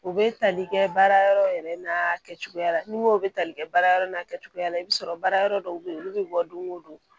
U bɛ tali kɛ baarayɔrɔ yɛrɛ n'a kɛcogoya la nimoro bɛ tali kɛ baarayɔrɔ n'a kɛcogoya la i bɛ sɔrɔ baara yɔrɔ dɔw bɛ yen olu bɛ bɔ don o don